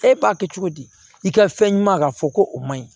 E b'a kɛ cogo di i ka fɛn ɲuman ka fɔ ko o man ɲi